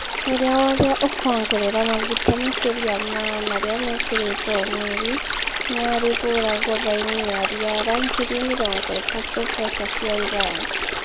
ũrĩa wothe ũkongerera maguta makĩria ma marĩa mekĩrĩtwo o mweri, nĩ arĩhũragwo baĩni ya riara ngiri mĩrongo ĩtatũ mbeca cia Iran